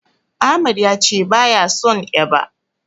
Ahmad yace baya son eba.